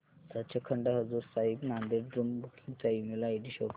Sachkhand Hazur Sahib Nanded room booking चा email ID show कर